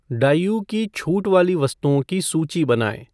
डाईऊ की छूट वाली वस्तुओं की सूची बनाएँ